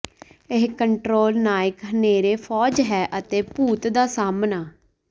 ਇਹ ਕੰਟ੍ਰੋਲ ਨਾਇਕ ਹਨੇਰੇ ਫ਼ੌਜ ਹੈ ਅਤੇ ਭੂਤ ਦਾ ਸਾਹਮਣਾ